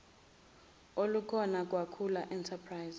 olukhona kwakhula enterprise